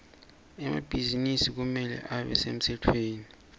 emabhizinisi kumele abe semtsetfweni